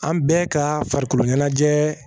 An bɛɛ ka farikoloɲɛnajɛ